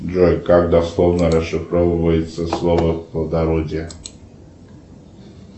джой как дословно расшифровывается слово плодородие